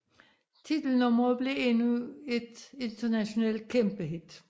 Titelnummeret blev endnu et internationalt kæmpehit